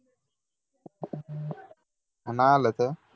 अण्णा आलेत?